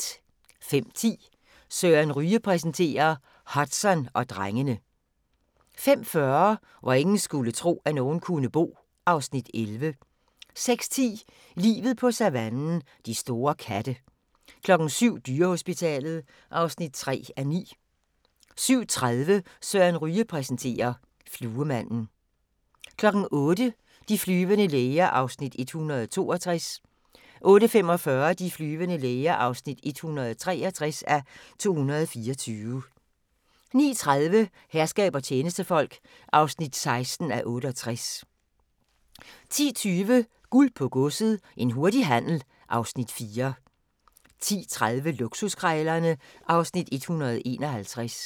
05:10: Søren Ryge præsenterer - Hudson og drengene 05:40: Hvor ingen skulle tro, at nogen kunne bo (Afs. 11) 06:10: Livet på savannen – de store katte 07:00: Dyrehospitalet (3:9) 07:30: Søren Ryge præsenterer: Fluemanden 08:00: De flyvende læger (162:224) 08:45: De flyvende læger (163:224) 09:30: Herskab og tjenestefolk (16:68) 10:20: Guld på Godset – en hurtig handel (Afs. 4) 10:30: Luksuskrejlerne (Afs. 151)